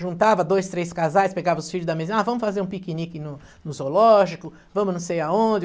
Juntava dois, três casais, pegava os filhos da, ah, vamos fazer um piquenique no no zoológico, vamos não sei aonde.